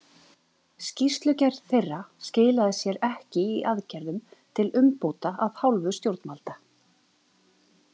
Skýrslugerð þeirra skilaði sér ekki í aðgerðum til umbóta af hálfu stjórnvalda.